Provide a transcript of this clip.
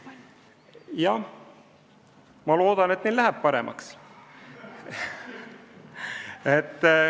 Jah, ma loodan, et läheb paremaks.